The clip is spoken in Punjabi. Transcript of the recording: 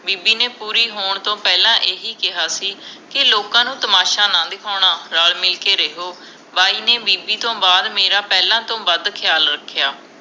ਬੀਬੀ ਨੇ ਪੂਰੀ ਹੋਣ ਤੋਂ ਪਹਿਲਾ ਇਹੀ ਕਿਹਾ ਸੀ ਕਿ ਲੋਕਾਂ ਨੂੰ ਤਮਾਸ਼ਾ ਨਾ ਦਿਖਾਉਣਾ, ਰਲ ਮਿਲ ਕੇ ਰਹਿਓ ਬਾਈ ਨੇ ਬੀਬੀ ਤੋਂ ਬਾਅਦ ਮੇਰਾ ਪਹਿਲਾ ਤੋਂ ਵੱਧ ਖਿਆਲ ਰੱਖਿਆ